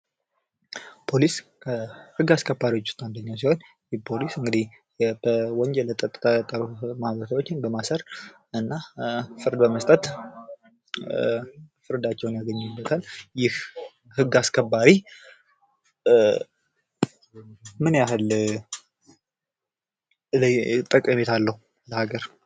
ፖሊስ ከህግ አስከባሪዎች ዉስጥ አንደኛዉ ሲሆን ፖሊስ በወንጀል ፀጥታ ችግር ፈጣሪዎችን በማሰር እና ፍርድ በመስጠት ፍርዳቸዉን ያገኙበታል። ይህ ህግ አስከባሪ ምን ያህል ጠቀሜታ አለዉ ለሀገር?